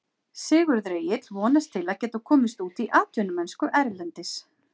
Sigurður Egill vonast til að geta komist út í atvinnumennsku erlendis.